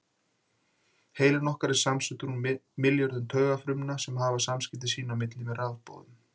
Heilinn okkar er samansettur úr milljörðum taugafrumna sem hafa samskipti sín á milli með rafboðum.